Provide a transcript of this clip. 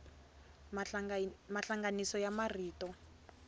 mahlanganiso ya marito